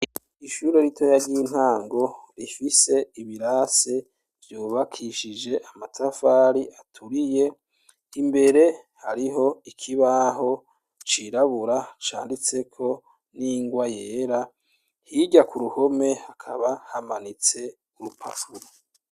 Ishuri rito yaryintango rifise ibirase vyubakishije amatafari aturiye imbere hariho ikibaho cirabura canditseko n'ingwa yera hirya ku ruhome hakaba hamanitse urupakuro.